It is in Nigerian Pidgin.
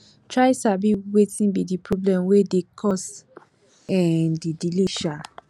try sabi wetin be di problem wey dey cause um di delay um